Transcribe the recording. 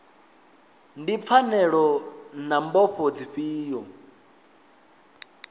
ndi pfanelo na mbofho dzifhio